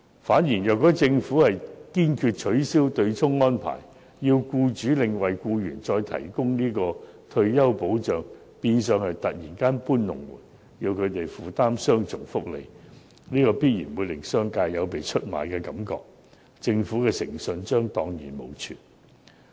反之，如果政府堅決取消對沖安排，要僱主另為僱員再提供退休保障，變相是突然"搬龍門"，要僱主負擔雙重福利，必然會令業界有被出賣的感覺，政府的誠信將蕩然無存。